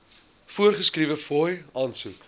voorgeskrewe fooie aansoek